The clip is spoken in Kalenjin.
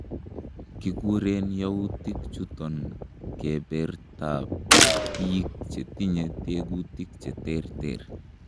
Kikuren youutik chuton kebertab biik chetinye tekutik cheterter.